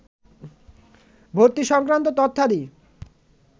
ভর্তি সংক্রান্ত তথ্যাদি